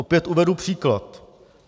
Opět uvedu příklad.